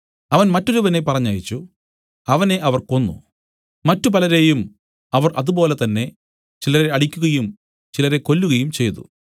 അവൻ മറ്റൊരുവനെ പറഞ്ഞയച്ചു അവനെ അവർ കൊന്നു മറ്റു പലരെയും അവർ അതുപോലെ തന്നെ ചിലരെ അടിക്കുകയും ചിലരെ കൊല്ലുകയും ചെയ്തു